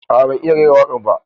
A'a ban iya rera wakar ba.